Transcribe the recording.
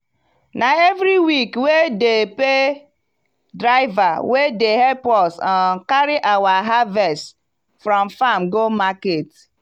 na everyweek wey dey pay driver wey dey help us um carry our harvest from farm go market.